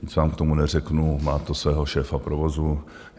Víc vám k tomu neřeknu, má to svého šéfa provozu.